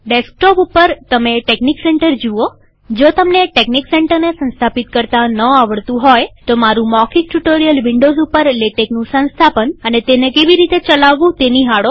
desktop ઉપર તમે TeXnic Center જુઓજો તમને ટેકનીક સેન્ટરને સંસ્થાપિત કરતા ન આવડતું હોય તોમારું મૌખિક ટ્યુ્ટોરીઅલ વિન્ડોવ્સ ઉપર લેટેકનું સંસ્થાપન અને તેને કેવી રીતે ચલાવવું નિહાળો